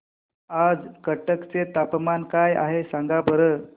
आज कटक चे तापमान काय आहे सांगा बरं